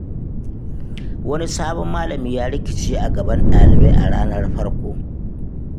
Wani sabon malami ya rikice a gaban ɗalibai a ranar farko.